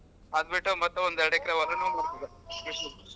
ಅದ್ ಬಿಟ್ಟು ಮತ್ತೆ ಒಂದೆರಡು ಎಕ್ರೆ ಹೊಲಾನೂ .